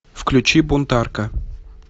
включи бунтарка